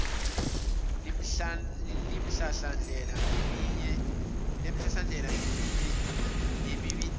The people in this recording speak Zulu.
lemihlahlandlela ngeminye yemibandela